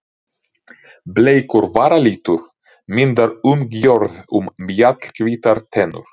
Bleikur varalitur myndar umgjörð um mjallhvítar tennur.